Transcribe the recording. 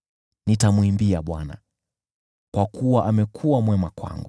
Nitamwimbia Bwana , kwa kuwa amekuwa mwema kwangu.